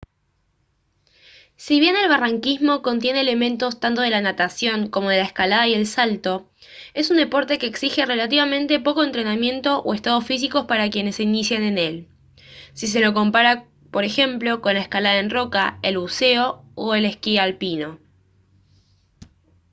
si bien el barranquismo contiene elementos tanto de la natación como de la escalada y el salto es un deporte que exige relativamente poco entrenamiento o estado físico para quienes se inician en él si se lo compara por ejemplo con la escalada en roca el buceo o el esquí alpino